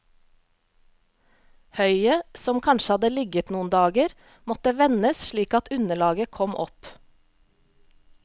Høyet, som kanskje hadde ligget noen dager, måtte vendes slik at underlaget kom opp.